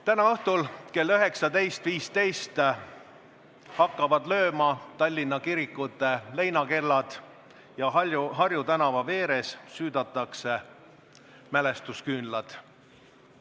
Täna õhtul kell 19.15 hakkavad lööma Tallinna kirikute leinakellad ja Harju tänava veeres süüdatakse mälestusküünlad.